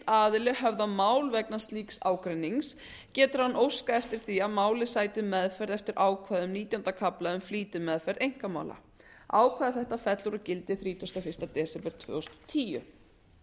aðili höfða mál vegna slíks ágreinings getur hann óskað eftir því að málið sæti meðferð eftir ákvæðum nítjánda kafla um flýtimeðferð einkamála ákvæði þetta fellur úr gildi þrítugasta og fyrsta desember tvö þúsund og tíu